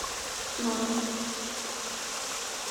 смакон